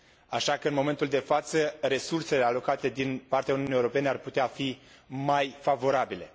Așa că, în momentul de față, resursele alocate din partea Uniunii Europene ar putea fi mai favorabile.